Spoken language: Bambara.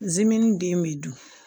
Zimɛni den bɛ dun